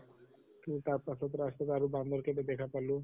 তʼ তাৰ পাছত ৰাস্তাৰ আৰু বান্দৰ কেইটা দেখা পালো